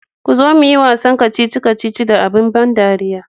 kuzo muyi wasan kacici kacici da abin ban dariya.